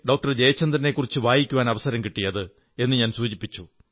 ജയചന്ദ്രനെക്കുറിച്ച് വായിക്കാവൻ അവസരം കിട്ടിയത് എന്നും സൂചിപ്പിച്ചു